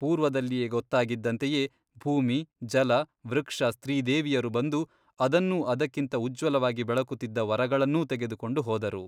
ಪೂರ್ವದಲ್ಲಿಯೆ ಗೊತ್ತಾಗಿದ್ದಂತೆಯೇ ಭೂಮಿ ಜಲ ವೃಕ್ಷ ಸ್ತ್ರೀದೇವಿಯರು ಬಂದು ಅದನ್ನೂ ಅದಕ್ಕಿಂತ ಉಜ್ವಲವಾಗಿ ಬೆಳಗುತ್ತಿದ್ದ ವರಗಳನ್ನೂ ತೆಗೆದುಕೊಂಡು ಹೋದರು.